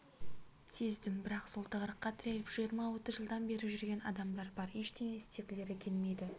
сездім бірақ сол тығырыққа тіреліп жиырма отыз жылдан бері жүрген адамдар бар ештеңе істегілері келмейді